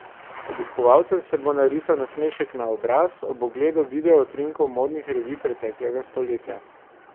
Obiskovalcem se bo narisal nasmešek na obraz ob ogledu video utrinkov modnih revij preteklega stoletja.